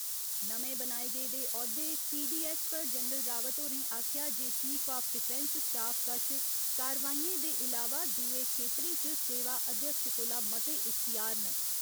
नमें बनाए गेदे औह्दे सीडीऐस्स पर जनरल रावत होरें आखेआ जे चीफ आफ डिफैंस स्टाफ कश कार्यवाहियें दे इलावा दुए खेत्तरें च सेवा अध्यक्ष कोला मते इख्तेयार न।